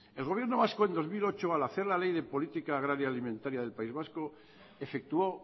el gobierno vasco en dos mil ocho al hacer la ley de política agraria alimentaria del país vasco efectuó